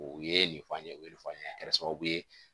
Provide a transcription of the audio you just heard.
O ye nin fɔ an ye o ye fɔ an ɲe a kɛra sababu ye